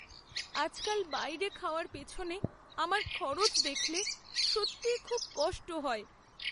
আজকাল বাইরে খাওয়ার পেছনে আমার খরচ দেখলে সত্যিই খুব কষ্ট হয়।